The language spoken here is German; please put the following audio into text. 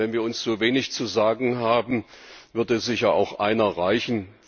Wenn wir uns so wenig zu sagen haben, würde sicher auch einer reichen.